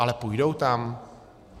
Ale půjdou tam?